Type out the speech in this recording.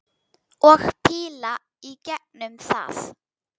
Og píla í gegnum það!